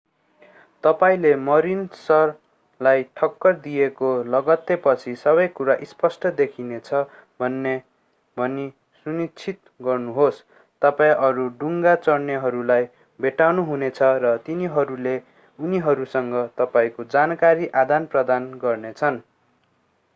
तपाईंले मरीनसलाई ठक्कर दिएको लगत्तैपछि सबैकुरा स्पष्ट देखिनेछ भनी सुनिश्चित गर्नुहोस् तपाईं अरू डुङ्गा चढ्नेहरूलाई भेट्नुहुनेछ र तिनीहरूले उनीहरूसँग तपाईंको जानकारी आदानप्रदान गर्नेछन्